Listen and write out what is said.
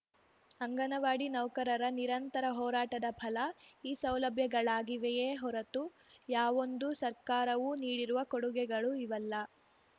ಅಂಗನವಾಡಿ ನೌಕರರ ನಿರಂತರ ಹೋರಾಟದ ಫಲ ಈ ಸೌಲಭ್ಯಗಳಾಗಿವೆಯೇ ಹೊರತು ಯಾವೊಂದು ಸರ್ಕಾರವೂ ನೀಡಿರುವ ಕೊಡುಗೆಗಳು ಇವಲ್ಲ